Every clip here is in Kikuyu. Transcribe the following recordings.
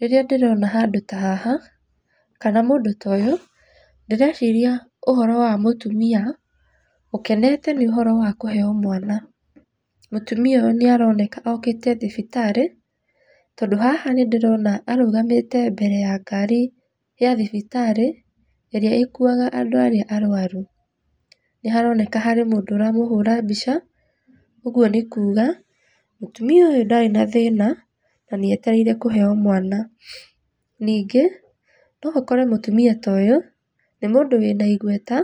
Rĩrĩa ndĩrona handũ ta haha, kana mũndũ ta ũyũ, ndĩreciria ũhoro wa mũtumia, ũkenete nĩ ũhoro wa kũheo mwana. Mũtumia ũyũ nĩ aroneka okĩte thibitarĩ tondũ haha nĩndĩrona arũgamĩte mbere ya ngari ya thibitarĩ ĩrĩa ĩkuaga andũ arĩa arwaru. Nĩ haroneka harĩ mũndũ ũramũhũra mbĩca, ũguo nĩ kuga mũtumia ũyũ ndarĩ na thĩna na nĩ etereire kũheo mwana. Ningĩ no ũkore mũtumia ta ũyũ nĩ mũndũ wĩna igweta,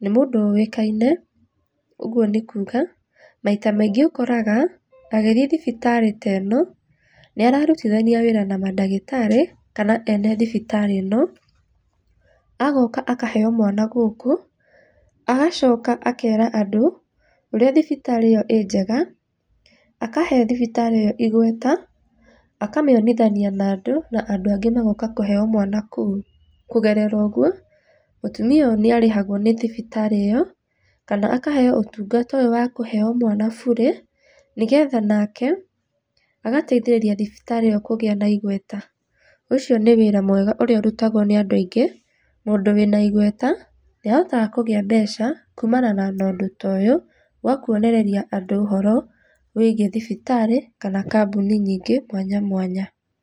nĩ mũndũ ũĩkaine ũguo nĩ kuuga maita maingĩ ũkoraga agĩthiĩ thibitarĩ ta ĩno nĩ ararutithania wĩra na mandagĩtarĩ kana ene thibitarĩ ĩno, agoka akaheo mwana gũkũ, agacoka akera andũ ũrĩa thibitarĩ ĩyo ĩ njega akahe thibitarĩ ĩyo igweta akamĩonithania na andũ na andũ angĩ magoka kũheo mwana kũu. Kũgerera ũguo mũtumia ũyũ nĩarĩhagwo nĩ thibitarĩ ũyũ kana akaheeo ũtungata ũyũ wa kũheo mwana burĩ, nĩgetha nake agateithĩrĩria thibitarĩ ĩyo kũgĩa na igweta. Ũcio nĩ wĩra mwega ũrĩa ũrutagwo nĩ andũ aingĩ, mũndũ wĩna igweta nĩahotaga kũgĩa mbeca kumana na ũndũ ta ũyũ wa kuonereria andũ ũhoro wĩgiĩ thibitarĩ kana kambuni nyingĩ mwanya mwanya.